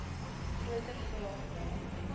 groter vraag na